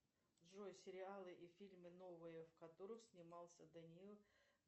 джой сериалы и фильмы новые в которых снимался даниил